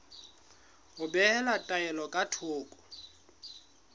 ho behela taelo ka thoko